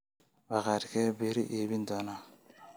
bakhaarkee beri iibin doona